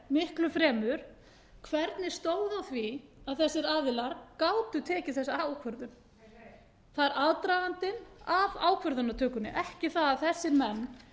miklu fremur hvernig stóð á því að þessir aðilar gátu tekið þessa ákvörðun það er aðdragandinn að ákvörðunartökunni ekki það að þessir